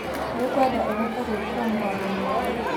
Nĩngwenda ũhote gwikira mũgambo mũnene.